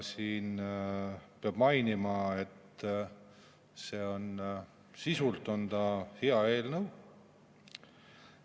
Peab mainima, et sisult on see hea eelnõu.